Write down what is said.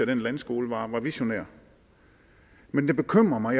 den landskole var visionær men det bekymrer mig